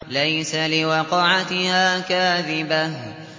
لَيْسَ لِوَقْعَتِهَا كَاذِبَةٌ